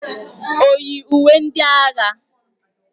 O yi uwe ndị agha?